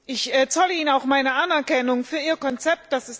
Ich zolle Ihnen auch meine Anerkennung für Ihr Konzept.